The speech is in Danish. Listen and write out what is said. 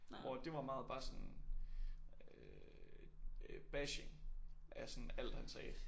Hvor at det var meget bare sådan øh bashing af sådan alt han sagde